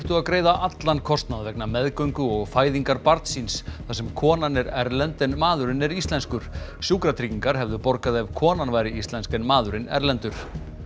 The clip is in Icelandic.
að greiða allan kostnað vegna meðgöngu og fæðingar barns síns þar sem konan er erlend en maðurinn er íslenskur sjúkratryggingar hefðu borgað ef konan væri íslensk en maðurinn erlendur